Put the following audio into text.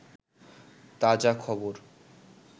তাজাখবর